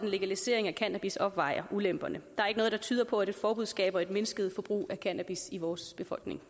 legalisering af cannabis opvejer ulemperne noget der tyder på at et forbud skaber et mindsket forbrug af cannabis i vores befolkning